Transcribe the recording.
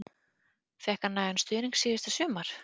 Fékk hann nægan stuðning síðasta sumar?